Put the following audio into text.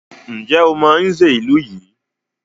Ǹjẹ́ o mọ Nze ìlú yìí?